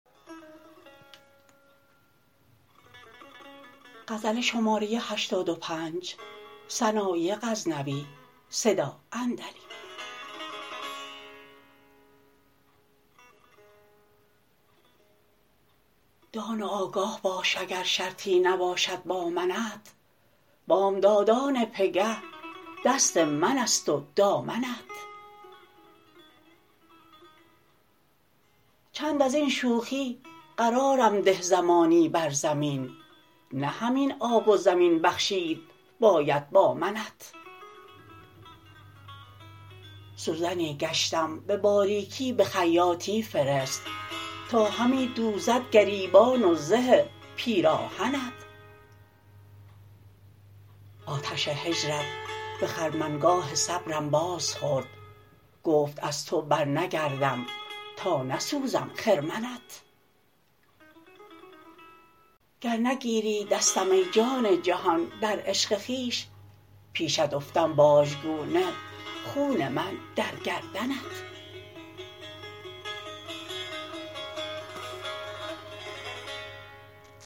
دان و آگه باش اگر شرطی نباشد با منت بامدادان پگه دست منست و دامنت چند ازین شوخی قرارم ده زمانی بر زمین نه همین آب و زمین بخشید باید با منت سوزنی گشتم به باریکی به خیاطی فرست تا همی دوزد گریبان و زه پیراهنت آتش هجرت به خرمنگاه صبرم باز خورد گفت از تو بر نگردم تا نسوزم خرمنت گر نگیری دستم ای جان جهان در عشق خویش پیشت افتم باژگونه خون من در گردنت